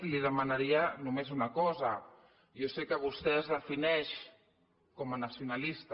li de·manaria només una cosa jo sé que vostè es defineix com a nacionalista